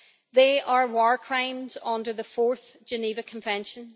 They are war crimes under the Fourth Geneva Convention.